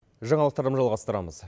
жаңалықтарды жалғастырамыз